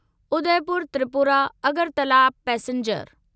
Udaipur Tripura Agartala passenger